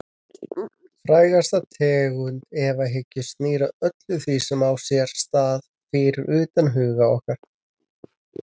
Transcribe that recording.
Frægasta tegund efahyggju snýr að öllu því sem á sér stað fyrir utan huga okkar.